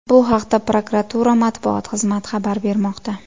Bu haqda prokuratura matbuot xizmati xabar bermoqda .